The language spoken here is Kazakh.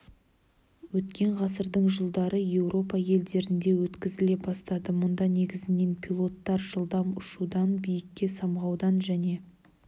өткен ғасырдың жылдары еуропа елдерінде өткізіле бастады мұнда негізінен пилоттар жылдам ұшудан биікке самғаудан және